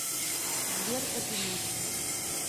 сбер одинокий